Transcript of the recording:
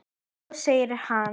Svo segir hann.